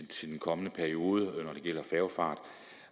til den kommende periode når det gælder færgefart